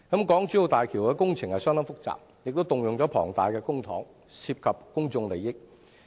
港珠澳大橋工程相當複雜，動用了龐大的公帑，涉及公眾利益。